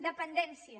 dependència